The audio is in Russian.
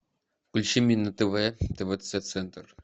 включи мне на тв твц центр